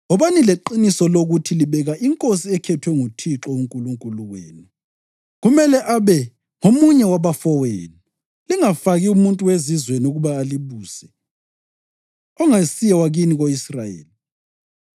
wobani leqiniso lokuthi libeka inkosi ekhethwe nguThixo uNkulunkulu wenu. Kumele abe ngomunye wabafowenu. Lingafaki umuntu wezizweni ukuba alibuse, ongasiye wakini ko-Israyeli.